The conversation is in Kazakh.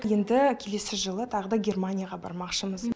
енді келесі жылы тағы да германияға бармақшымыз